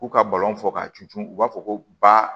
K'u ka balon fɔ k'a tunu u b'a fɔ ko ba